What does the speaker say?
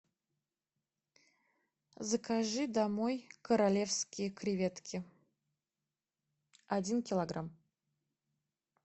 закажи домой королевские креветки один килограмм